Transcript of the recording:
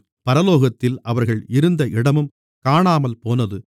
பரலோகத்தில் அவர்கள் இருந்த இடமும் காணாமல்போனது